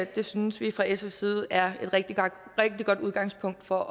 det synes vi fra sfs side er et rigtig godt udgangspunkt for